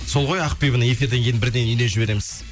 сол ғой ақбибіні эфирден кейін бірден үйіне жібереміз